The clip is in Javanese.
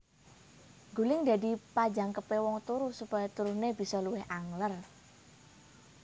Guling dadi panjangkepé wong turu supaya turuné bisa luwih angler